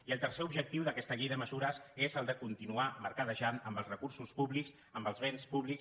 i el tercer objectiu d’aquesta llei de mesures és el de continuar mercadejant amb els recursos públics amb els béns públics